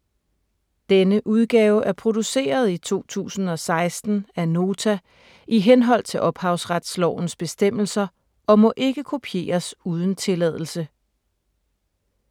Denne udgave er produceret i 2016 af Nota i henhold til ophavsretslovens bestemmelser og må ikke kopieres uden tilladelse.